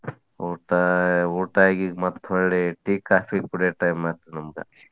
ಊಟಾ ಊಟಾ ಆಗಿ ಈಗ ಮತ್ತ್ ಮರ್ಳಿ tea coffee ಕೊಡಿಯೊ time ಆತ್ ನಮ್ಗ.